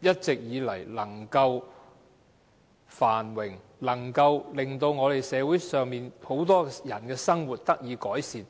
一直以來能夠繁榮，令社會上很多人的生活得以改善。